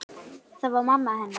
Það var mamma hennar.